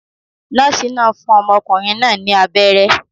Nọ́ọ̀sì náà fún ọmọkùnrin náà ní abẹ́rẹ́